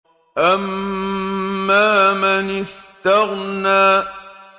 أَمَّا مَنِ اسْتَغْنَىٰ